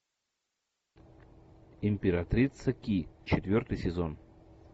императрица ки четвертый сезон